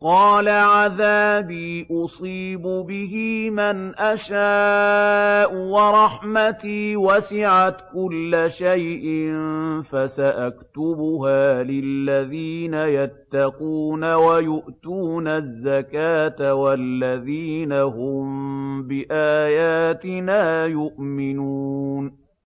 قَالَ عَذَابِي أُصِيبُ بِهِ مَنْ أَشَاءُ ۖ وَرَحْمَتِي وَسِعَتْ كُلَّ شَيْءٍ ۚ فَسَأَكْتُبُهَا لِلَّذِينَ يَتَّقُونَ وَيُؤْتُونَ الزَّكَاةَ وَالَّذِينَ هُم بِآيَاتِنَا يُؤْمِنُونَ